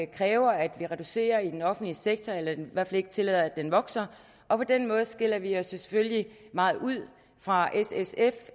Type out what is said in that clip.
kræver at vi reducerer i den offentlige sektor eller i hvert fald ikke tillader at den vokser og på den måde skiller vi os jo selvfølgelig meget ud fra s sf